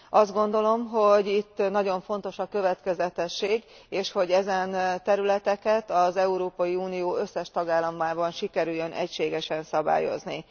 Azt gondolom, hogy itt nagyon fontos a következetesség, és hogy ezen területeket az Európai Unió összes tagállamában sikerüljön egységesen szabályozni.